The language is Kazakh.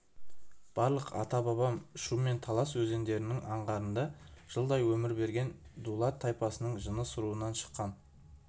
барлық ата-бабам шу мен талас өзендерінің аңғарында жылдай өмір сүрген дулат тайпасының жаныс руынан шыққан